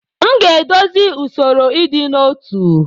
M ga-edozi usoro ịdị n'otu.